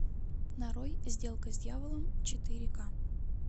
нарой сделка с дьяволом четыре ка